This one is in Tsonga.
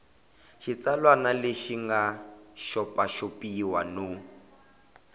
xitsalwana xi nga xopaxopiwa no